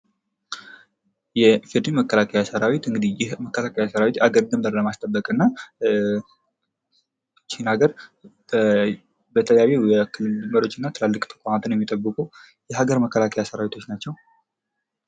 የኢፌድሪ መከላከያ ሰራዊት እንግዲህ የመከላከያ ሠራዊት የአገርን ድንበር ለማስጠበቅ እና እቺ ሀገር በተለያዩ የክልል መሪዎች እና ትላልቅ ተቋማትን የሚጠብቁ የአገር መከላከያ ሰራዊቶች ናቸው።